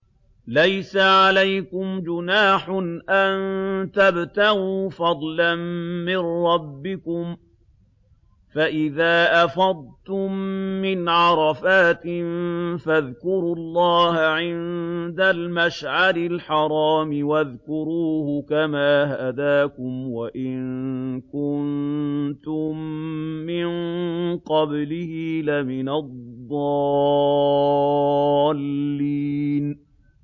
لَيْسَ عَلَيْكُمْ جُنَاحٌ أَن تَبْتَغُوا فَضْلًا مِّن رَّبِّكُمْ ۚ فَإِذَا أَفَضْتُم مِّنْ عَرَفَاتٍ فَاذْكُرُوا اللَّهَ عِندَ الْمَشْعَرِ الْحَرَامِ ۖ وَاذْكُرُوهُ كَمَا هَدَاكُمْ وَإِن كُنتُم مِّن قَبْلِهِ لَمِنَ الضَّالِّينَ